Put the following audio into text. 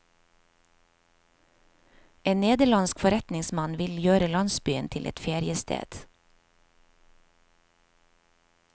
En nederlandsk forretningsmann vil gjøre landsbyen til et feriested.